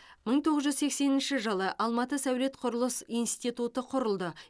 мың тоғыз жүз сексенінші жылы алматы сәулет құрылыс институты құрылды